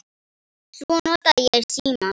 Svo nota ég símann.